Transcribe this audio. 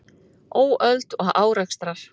Óöld og árekstrar